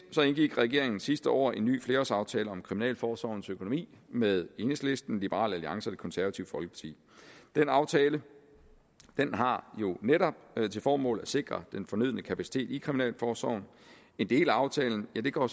indgik regeringen sidste år en ny flerårsaftale om kriminalforsorgens økonomi med enhedslisten liberal alliance og det konservative folkeparti den aftale har jo netop til formål at sikre den fornødne kapacitet i kriminalforsorgen en del af aftalen går